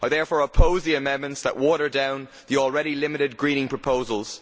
I therefore oppose the amendments that water down the already limited greening proposals.